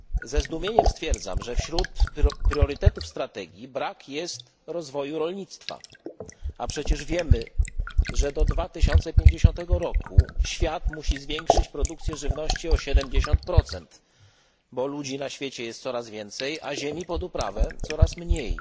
Ze zdumieniem stwierdzam, że wśród priorytetów strategii brak jest rozwoju rolnictwa, a przecież wiemy, że do 2050 roku świat musi zwiększyć produkcję żywności o 70 bo ludzi na świecie jest coraz więcej, a ziemi pod uprawę coraz mniej.